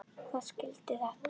Hver skilur þetta?